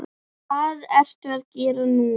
Hvað ertu að gera núna?